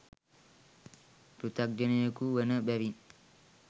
පෘථග්ජනයකු වන බැවිනි.